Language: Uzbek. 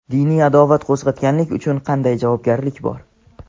Diniy adovat qo‘zg‘atganlik uchun qanday javobgarlik bor?.